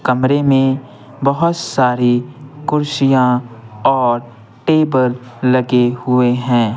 कमरे में बहुत सारी कुर्सियाँ और टेबल लगे हुए हैं।